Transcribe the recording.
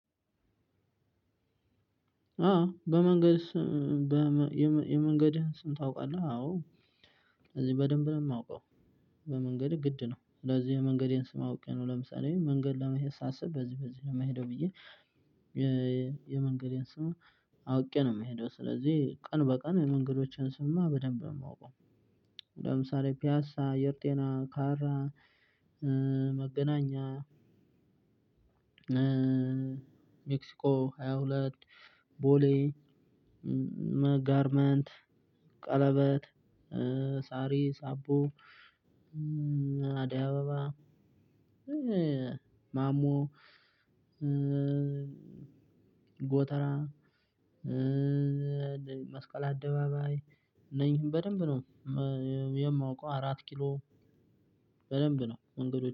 አዎ በመንገድ የመንገድህን ስም ታውቃለህ? አዎ እዚህ በደንብ ነው የማውቀው። በመንገድህ ግድ ነው። ስለዚህ የመንገዴን ስም አውቄ ነው ለምሳሌ መንገድ ለመሄድ ሳስብ በዚህ በዚህ ነው የምሄደው ብዬ- የመንገዴን ስሙ አውቄ ነው የምሄደው። ስለዚህ ቀን በቀን የመንገዶችን ስምማ በደንብ ነው የማውቀው። ለምሳሌ ፒያሳ አየር ጤና ካራ መገናኛ- ሜክሲኮ ሃያ ሁለት ቦሌ- ጋርመንት :ቀለበት: ሳሪ: አቦ: አደይ አበባ :ማሞ ጎተራ :መስቀል አደባባይ እነኝህን በደንብ ነው- የማውቀው። አራት ኪሎ በደንብ ነው መንገዶችን-